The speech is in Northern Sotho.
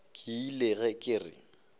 ke ile ge ke re